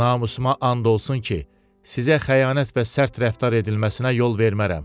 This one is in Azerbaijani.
Namusuma and olsun ki, sizə xəyanət və sərt rəftar edilməsinə yol vermərəm.